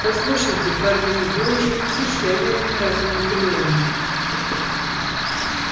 послушайте хардин вы уже посещали один раз анакреон